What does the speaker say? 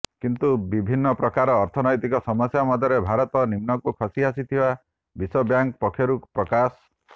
କିନ୍ତୁ ବିଭିନ୍ନ ପ୍ରକାର ଅର୍ଥନୈତିକ ସମସ୍ୟା ମଧ୍ୟରେ ଭାରତ ନିମ୍ନକୁ ଖସି ଆସିଥିବା ବିଶ୍ୱ ବ୍ୟାଙ୍କ ପକ୍ଷରୁ ପ୍ରକାଶ